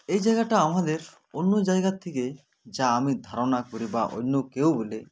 এই জায়গাটা আমাদের অন্য জায়গার থেকে যা আমি ধারণা করে বা অন্য কেউ হলে